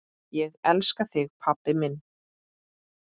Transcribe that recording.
Ég elska þig pabbi minn.